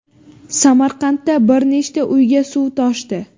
Samarqandda bir nechta uyga suv toshdi.